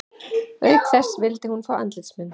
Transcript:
Auk þess vildi hún fá andlitsmynd